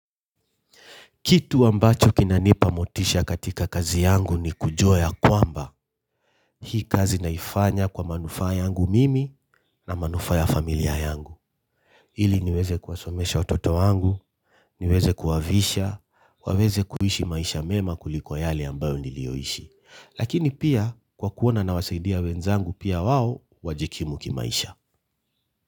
Kitu ambacho kinanipa motisha katika kazi yangu ni kujua ya kwamba. Hii kazi naifanya kwa manufaa yangu mimi na manufaa ya familia yangu. Ili niweze kuwasomesha watoto wangu, niweze kuwavisha, waweze kuishi maisha mema kuliko yale ambayo nilioishi. Lakini pia kwa kuona nawasaidia wenzangu pia wao wajikimu kimaisha.